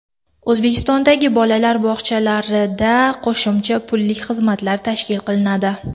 O‘zbekistondagi bolalar bog‘chalarida qo‘shimcha pullik xizmatlar tashkil qilinadi.